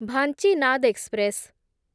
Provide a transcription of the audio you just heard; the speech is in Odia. ଭାଞ୍ଚିନାଦ ଏକ୍ସପ୍ରେସ୍